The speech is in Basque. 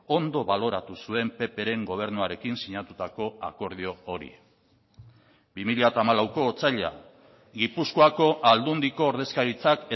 ondo baloratu zuen ppren gobernuarekin sinatutako akordio hori bi mila hamalauko otsaila gipuzkoako aldundiko ordezkaritzak